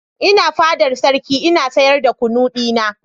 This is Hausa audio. Ina fadar sarki ina sayar da kunu dina.